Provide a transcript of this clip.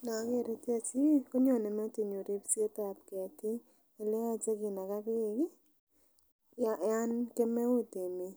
Inoker ichechu ih konyone metinyun ripsetab ketik eleyoche kinaga beek ih yan kemeut emet